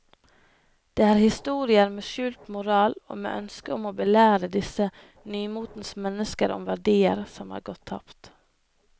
Det er historier med skjult moral og med ønske om å belære disse nymotens mennesker om verdier som er gått tapt.